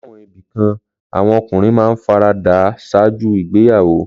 Láwọn ibì kan, àwọn ọkùnrin máa ń fara dà á ṣáájú ìgbéyàwó.